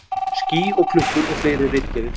Ský og klukkur og fleiri ritgerðir.